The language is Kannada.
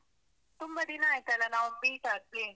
ತುಂ~ ತುಂಬ ದಿನ ಆಯ್ತಲ್ಲಾ ನಾವ್ meet ಆಗ್ದೇ?